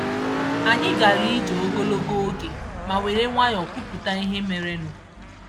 Anyị gara ije ogologo oge ma were nwayọ kwupụta ihe merenụ.